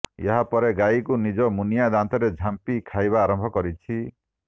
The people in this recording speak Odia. ଏହାପରେ ଗାଈକୁ ନିଜ ମୁନିଆ ଦାନ୍ତରେ ଝାମ୍ପି ଖାଇବା ଆରମ୍ଭ କରିଛି